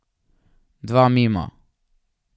Dva mimo.